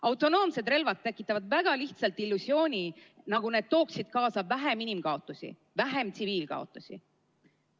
Autonoomsed relvad tekitavad väga lihtsalt illusiooni, et need toovad kaasa vähem inimkaotusi, vähem tsiviilkaotusi.